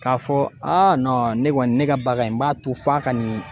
K'a fɔ a ne kɔni ne ka bagan in b'a to f'a ka nin